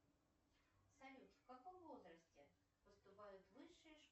салют в каком возрасте поступают в высшие